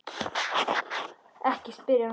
Ekki spyrja núna!